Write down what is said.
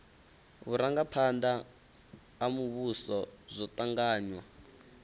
vhurangaphanda ha muvhuso zwo tanganywa